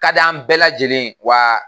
Ka d'an bɛɛ lajɛlen ye wa